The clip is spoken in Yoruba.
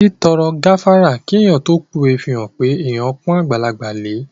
Títọrọ gáfárà kí èèyàn tó pówe fihàn pé èèyàn pọ́n àgbàlagbà lẹ